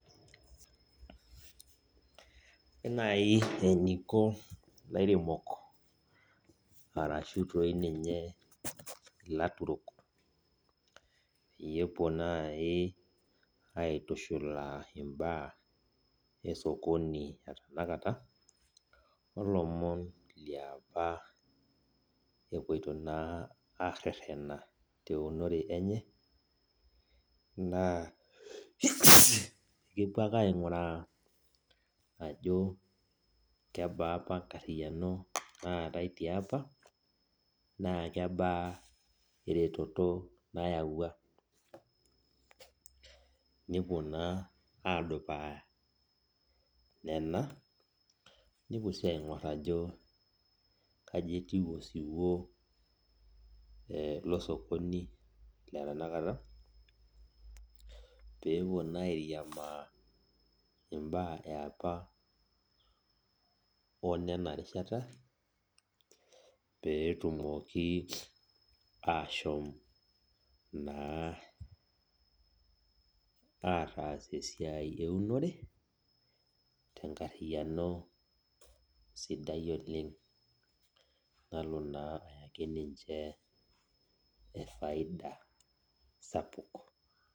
Ore nai eniko lairemok ashu toi ninye laturok pepuo aitushulaa mbaa osokoni tenakata olomon leapa epuoito na arereta teunore enye kepuo ake ainguraa ajo kebaa enkarino naatae tiapa na kebaa eretoto nayawua, nepuo na adupaa nona mepuo si aingur ajo ka etiu osiwuo losokoni le tanakata pepuo na airiamaa mbaa eapa onona rishata petumoki ashom naa ataas esiai eunore tenkariano sidai oleng nalo na ayaki ninche faida sapuk.